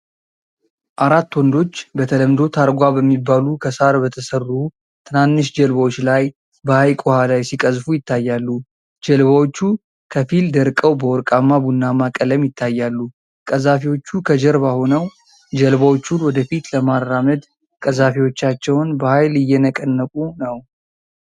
አራት ወንዶች በተለምዶ ታርጓ በሚባሉ ከሳር በተሠሩ ትናንሽ ጀልባዎች ላይ በሐይቅ ውኃ ላይ ሲቀዝፉ ይታያሉ። ጀልባዎቹ ከፊል ደርቀው በወርቃማ ቡናማ ቀለም ይታያሉ። ቀዛፊዎቹ ከጀርባ ሆነው ጀልባዎቹን ወደ ፊት ለማራመድ ቀዛፊዎቻቸውን በኃይል እየነቀነቁ ነው።